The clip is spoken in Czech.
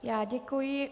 Já děkuji.